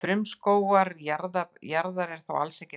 Frumskógur jarðar er þó alls ekki allur regnskógur.